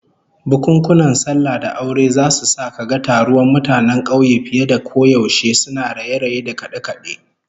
Bukunkunan sallah da aure zasu sa kaga taruwan mutanen kauye fiye da koyaushe, suna raye-raye da kade-kade